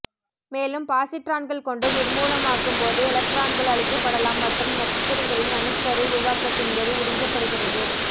மேலும் பாசிட்ரான்கள் கொண்டு நிர்மூலமாக்கும் போது எலக்ட்ரான்கள் அழிக்கப்படலாம் மற்றும் நட்சத்திரங்களின் அணுக்கரு உருவாக்கத்தின் போது உறிஞ்சப்படுகிறது